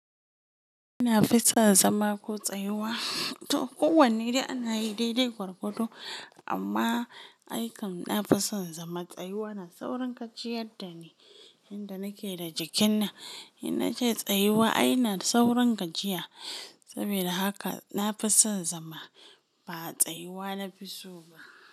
Ina fison zama ko tsayuwa. To kowanne dai ana yi daidai gwargwado amma aikam na fison zama. Tsayuwa na saurin gajiyadda ni, inda nake da jikin nan. In nace tsayuwa ai na saurin gajiya. Saboda haka na fison zama ba tsayuwa na fi so ba.